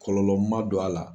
Kɔlɔlɔ ma don a la.